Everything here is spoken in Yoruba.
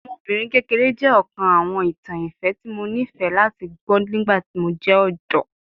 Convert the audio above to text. Ọmọbinrin kekere jẹ ọkan awọn itan ifẹ ti Mo nifẹ lati gbọ nigbati mo jẹ ọdọ